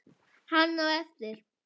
Hann á eftir.